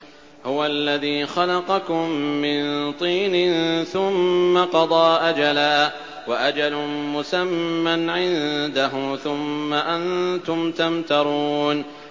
هُوَ الَّذِي خَلَقَكُم مِّن طِينٍ ثُمَّ قَضَىٰ أَجَلًا ۖ وَأَجَلٌ مُّسَمًّى عِندَهُ ۖ ثُمَّ أَنتُمْ تَمْتَرُونَ